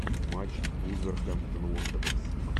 матч вулверхэмптон уондерерс